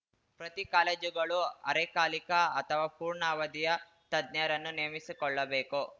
ಪ್ರತಿ ಕಾಲೇಜುಗಳು ಅರೆಕಾಲಿಕ ಅಥವಾ ಪೂರ್ಣ ಅವಧಿಯ ತಜ್ಞರನ್ನು ನೇಮಿಸಿಕೊಳ್ಳಬೇಕು